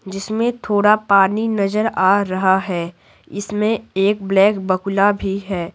जिसमें थोड़ा पानी नजर आ रहा है इसमें एक ब्लैक बकुला भी है।